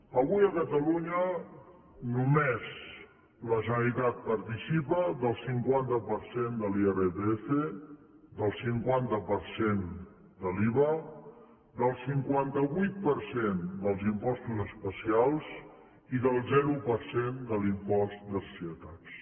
avui a catalunya només la generalitat participa del cinquanta per cent de l’irpf del cinquanta per cent de l’iva del cinquanta vuit per cent dels impostos especials i del zero per cent de l’impost de societats